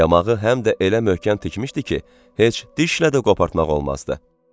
Yamağı həm də elə möhkəm tikmişdi ki, heç dişlə də qopartmaq olmazdı.